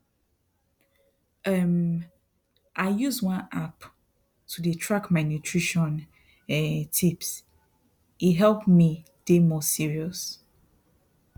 um i use one app to dey track my nutrition um tips e help me dey more serious